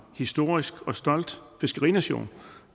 historisk og stolt fiskerination